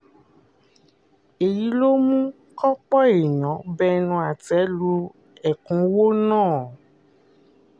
èyí ló mú kópó èèyàn bẹnu àtẹ́ lu ẹ̀kúnwọ́ náà